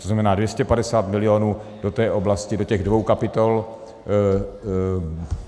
To znamená, 250 milionů do té oblasti, do těch dvou kapitol.